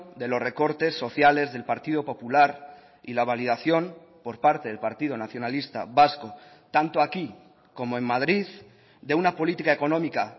de los recortes sociales del partido popular y la validación por parte del partido nacionalista vasco tanto aquí como en madrid de una política económica